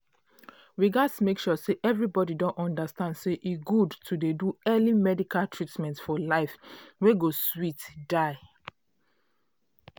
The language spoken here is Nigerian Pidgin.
we gats make sure say everybody don understand say e good to dey do early medical treatment for life wey go sweet die.